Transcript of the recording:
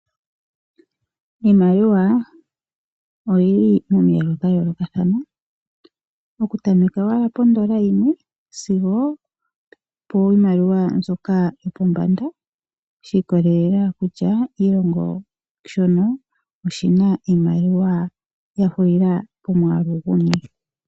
Iimaliwa oyili pamiyalu dha yoolokathana oku tameke owala pondola yimwe sigo piimaliwa mbyoka yopo pambanda shi ikololela kutya oshilongo shono oshina iimaliwa yahulila pomwaalu guni .